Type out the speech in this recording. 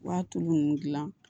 Wa tulu ninnu dilan